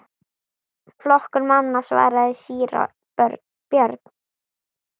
Flokkur manna, svaraði síra Björn.